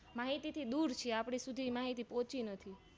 માહિતીથી દૂર છીએ આપણે એ માહિતી પોહચી નથી